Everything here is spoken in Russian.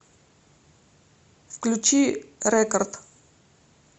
включи рекард